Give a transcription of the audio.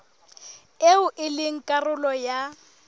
eo e leng karolo ya